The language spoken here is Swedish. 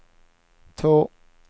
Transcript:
två